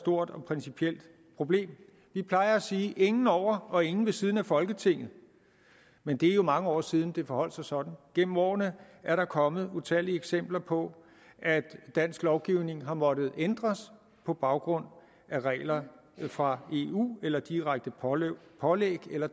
stort og principielt problem vi plejer at sige ingen over og ingen ved siden af folketinget men det er jo mange år siden det forholdt sig sådan gennem årene er der kommet utallige eksempler på at dansk lovgivning har måttet ændres på baggrund af regler fra eu eller direkte pålæg pålæg eller